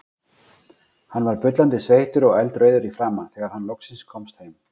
Hann var bullandi sveittur og eldrauður í framan þegar hann loksins komst heim.